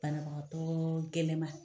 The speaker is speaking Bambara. Banabagatɔɔɔ gɛlɛnma.